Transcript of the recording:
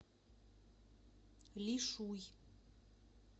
лишуй